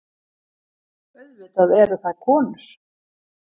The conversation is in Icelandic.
Auðvitað eru það konur.